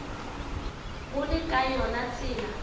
go le ka yona tsela